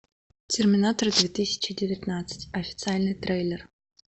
терминатор две тысячи девятнадцать официальный трейлер